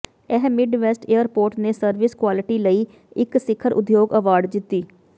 ਇਹ Midwest airport ਨੇ service quality ਲਈ ਇਕ ਸਿਖਰ ਉਦਯੋਗ ਅਵਾਰਡ ਜਿੱਤੀ